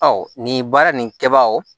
Ɔ nin baara nin kɛbagaw